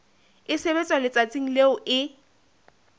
e sebetswa letsatsing leo e